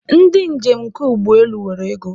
Ndị njem nke ụgbọelu nwere ego